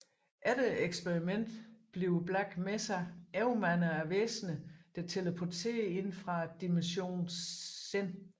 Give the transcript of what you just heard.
Efter eksperimentet bliver Black Mesa overmandet af væsener der teleporterer ind fra dimensionen Xen